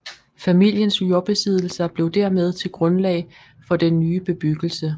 Familiens jordbesiddelser blev dermed til grundlag for den nye bebyggelse